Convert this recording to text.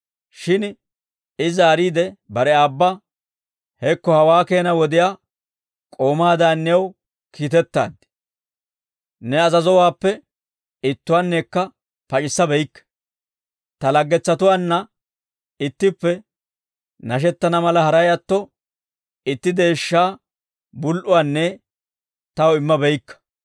Shin I zaariide bare aabba, ‹Hekko hawaa keena wodiyaa k'oomaadan new kiitettaad; ne azazowaappe ittuwaannekka pac'issa beykke; ta laggetsatuwaanna ittippe nashettana mala haray atto itti deeshshaa bul"uwaanne taw imma beykka;